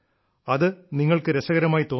അത് നിങ്ങൾക്ക് രസകരമായി തോന്നാം